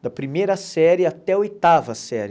da primeira série até a oitava série.